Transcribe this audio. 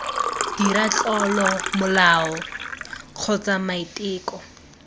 dira tlolo molao kgotsa maiteko